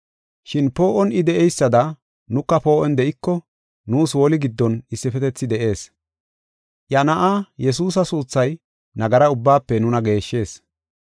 Shin poo7on I de7eysada, nuka poo7on de7iko, nuus woli giddon issifetethi de7ees. Iya Na7aa, Yesuusa suuthay nagara ubbaafe nuna geeshshees.